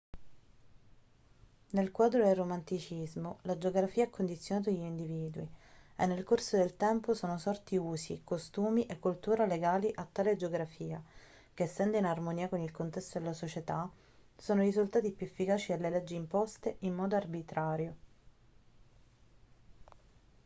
nel quadro del romanticismo la geografia ha condizionato gli individui e nel corso del tempo sono sorti usi costumi e cultura legati a tale geografia che essendo in armonia con il contesto della società sono risultati più efficaci delle leggi imposte in modo arbitrario